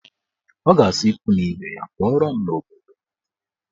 Ọ ga-asị ikwu na ibe ya pụọrọ n'obodo